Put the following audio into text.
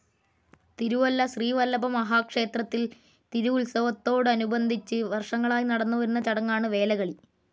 തിരുവല്ല ശ്രീവല്ലഭമഹാ ക്ഷേത്രത്തിൽ തിരുവുത്സവത്തോടനുബദധിച്ചു വർഷങ്ങളായി നടന്നുവരുന്നചടങ്ങാണ് വേലകളി.